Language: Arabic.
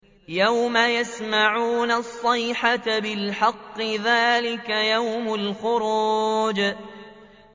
يَوْمَ يَسْمَعُونَ الصَّيْحَةَ بِالْحَقِّ ۚ ذَٰلِكَ يَوْمُ الْخُرُوجِ